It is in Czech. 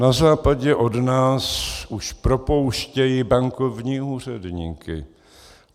Na západě od nás už propouštějí bankovní úředníky.